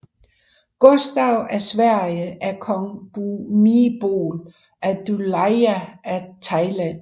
Gustav af Sverige af kong Bhumibol Adulyadej af Thailand